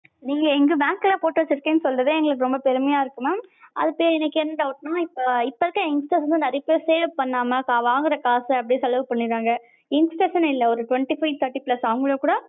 நீங்க எங்க bank ல போட்டு வச்சிருக்கேன்னு சொல்றதே எங்களுக்கு ரொம்ப பெருமையா இருக்கு mam. அதுக்கே இப்ப எனக்கு என்ன doubt நா இப்ப இப்ப இருக்ற youngsters வந்து நெறைய பேர் save பண்ணாம வாங்குற காச அப்படியே செலவு பண்ணிறாங்க. youngsters னு இல்ல ஒரு twenty five thirty plus அவங்களும் கூட